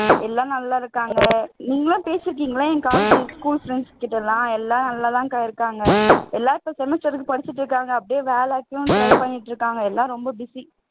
எல்லாம் நல்லா இருக்காங்க நீங்க பேசிருக்கீங்களா என் college school friends கிட்ட எல்லாம் எல்லாம் நல்லாதான்க்கா இருக்காங்க எல்லாம் இப்போ semester க்கு படிச்சிட்டு இருக்காங்க அப்படியே வேலைக்கும் try பண்ணிட்டு இருக்காங்க எல்லாம் ரொம்ப busy